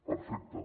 perfecte